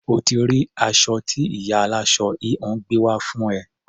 O ti rí aṣọ tí ìyá aláṣọ-híhun gbé wá fún ẹ.